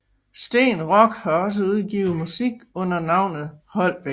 Steen Rock har også udgivet musik under navnet Holbek